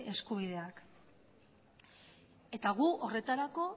eskubideak eta gu horretarako